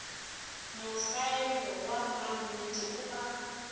mosaeno wa mannete o a